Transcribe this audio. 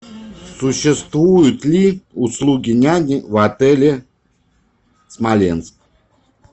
существуют ли услуги няни в отеле смоленск